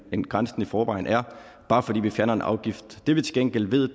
end grænsen i forvejen er bare fordi vi fjerner en afgift det vi til gengæld ved